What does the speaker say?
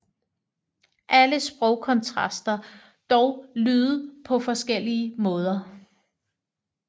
Alle sprog kontrasterer dog lyde på forskellige måder